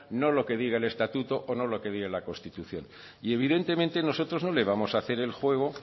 no lo que diga el estatuto o no lo que diga la constitución y evidentemente nosotros no le vamos a hacer el juego